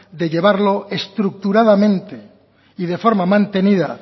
de llevarlo estructuradamente y de forma mantenida